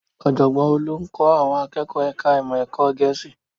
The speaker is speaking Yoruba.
Ọ̀jọ̀gbọ́n Olú ń kọ́ àwọn akẹ́kọ̀ọ́ ẹ̀ka ìmọ̀ ẹ̀kọ́ Gẹ̀ẹ́sì